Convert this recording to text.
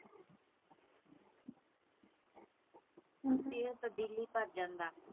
ਹਮ ਤੇਰਾ ਤਾਂ ਦਿਲ ਈ ਭਰ ਜਾਂਦਾ।